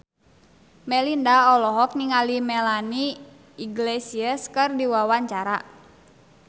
Melinda olohok ningali Melanie Iglesias keur diwawancara